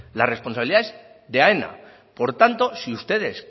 la responsabilidad es de aena por tanto si ustedes